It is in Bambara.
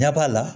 Ɲɛ b'a la